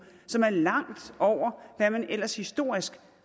som er langt over hvad man ellers historisk